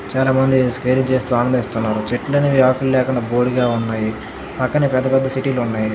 చాలా బాగుంది స్కేటింగ్ చేస్తూ ఆనందిస్తున్నారు చెట్లనేవి ఆకులు లేకుండా బోడిగా ఉన్నాయి పక్కనే పెద్ద పెద్ద సిటీ లు ఉన్నాయి.